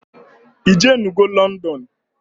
Ijenugo London?